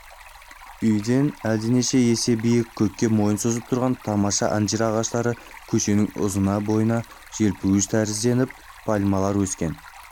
үйден әлденеше есе биік көкке мойнын созып тұрған тамаша анжир ағаштары көшенің ұзына бойына желпуіш тәрізденіп пальмалар өскен